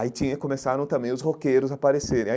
Aí tinha começaram também os roqueiros a aparecerem.